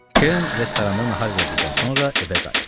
Kern restoranda nahar elədikdən sonra evə qayıtdı.